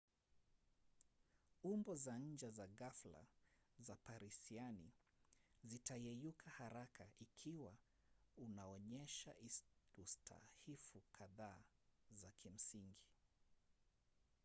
umbo za nje za ghafla za parisiani zitayeyuka haraka ikiwa unaonyesha ustahifu kadhaa za kimsingi